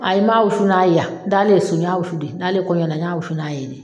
Ayi m'a wusu n'a ye yan. N daalen so n y'a wusu de, n daalen kɔɲɔ na n y'a wusu n'a ye de.